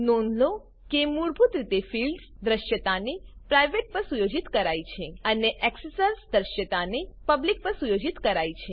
નોંધ લો કે મૂળભૂત રીતે ફિલ્ડ્સ દ્રશ્યતાને પ્રાઇવેટ પર સુયોજિત કરાઈ છે અને એક્સેસર્સ દ્રશ્યતાને પબ્લિક પર સુયોજિત કરાઈ છે